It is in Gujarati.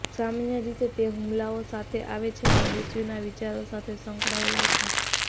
સામાન્ય રીતે તે હુમલાઓ સાથે આવે છે અને મૃત્યુનાં વિચારો સાથે સંકળાયેલા છે